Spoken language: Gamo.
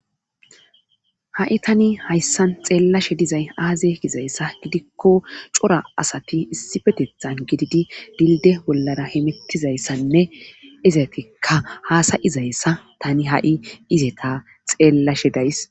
ha7i tani hayssan xeellashe dizay aaze kizayssa gidikko cora asati issi petethan gididi dilde bollara himettizayssanne izatikka haasayizayssa tani ha7i ize ta xeellashe days